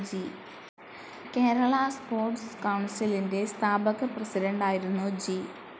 Kerala sports കൗൺസിലിന്റെ സ്ഥാപക പ്രസിഡന്റായിരുന്നു ജി.